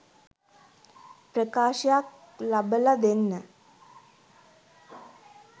ප්‍රකාශයක් ලබල දෙන්න?